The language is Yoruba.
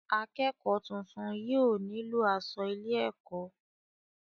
akẹ́kọ̀ọ́ tuntun yóò nílò asọ ilé-ẹ̀kọ́.